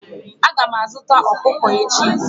Aga m azuta ọkụkọ echi.